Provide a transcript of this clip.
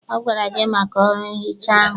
Ọ gwara gị maka ọrụ nhicha ahụ?